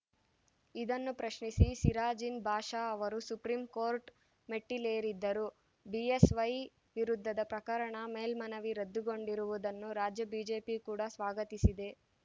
ಇದನ್ನು ಪ್ರಶ್ನಿಸಿ ಸಿರಾಜಿನ್‌ ಬಾಷಾ ಅವರು ಸುಪ್ರಿಂ ಕೋರ್ಟ್‌ ಮೆಟ್ಟಿಲೇರಿದ್ದರು ಬಿಎಸ್‌ವೈ ವಿರುದ್ಧದ ಪ್ರಕರಣ ಮೇಲ್ಮನವಿ ರದ್ದು ಗೊಂಡಿರುವುದನ್ನು ರಾಜ್ಯ ಬಿಜೆಪಿ ಕೂಡ ಸ್ವಾಗತಿಸಿದೆ